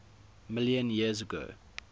million years ago